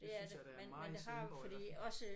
Det synes jeg der er meget i Svendborg i hvert fald